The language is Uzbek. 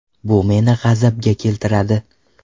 Bu meni g‘azabga keltiradi.